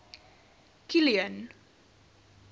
kilian